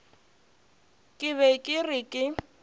ke be ke re ke